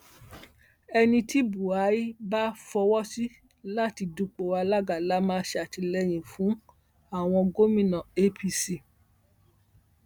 ẹni tí buahir bá fọwọ sí láti dúpọ alága la máa ṣàtìlẹyìn fúnàwọn gómìnà apc